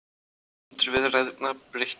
Forsendur viðræðna breyttar